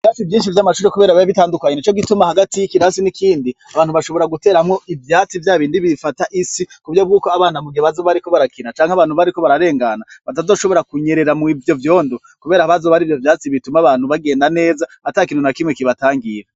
Vasi ivyinshi vy' amacuri, kubera biya bitandukanye ni co gituma hagati y'ikirasi n'ikindi abantu bashobora guteramwo ivyatsi vya bindi bifata isi ku vyo bw'uko abana mugebazo bariko barakina canke abantu bariko bararengana batazoshobora kunyerera mw ivyo vyondo, kubera abazo bari vyo vyatsi bituma abantu bagenda neza ata kino na kimwe kibatangira.